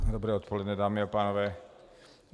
Dobré odpoledne, dámy a pánové.